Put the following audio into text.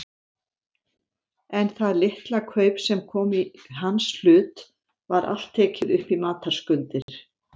En það litla kaup sem kom í hans hlut var allt tekið upp í matarskuldir.